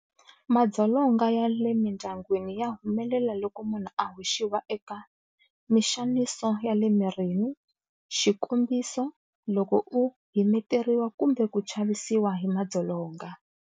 Madzolonga ya le mindyangwini ya humelela loko munhu a hoxiwa eka- Mixaniso ya le mirini- xikombiso, loko u himeteriwa kumbe ku chavisiwa hi madzolonga.